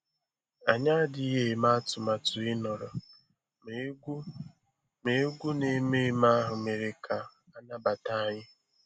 Anyị adịghị eme atụmatụ ịnọrọ, ma egwú ma egwú na ememe ahụ mere ka a nabata anyị